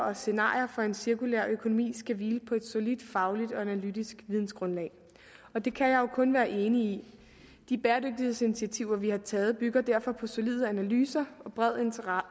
og scenarier for en cirkulær økonomi skal hvile på et solidt fagligt og analytisk vidensgrundlag det kan jeg jo kun være enig i de bæredygtighedsinitiativer vi har taget bygger derfor på solide analyser og bred